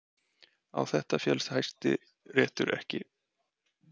Á þetta féllst Hæstiréttur ekki